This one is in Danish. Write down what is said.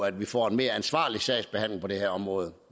at vi får en mere ansvarlig sagsbehandling på det her område